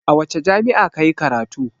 A wace jami'a ka yi karatu?